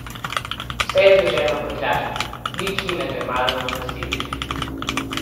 Vse je zloženo v prtljažniku, nič ni nagrmadeno na sedežih.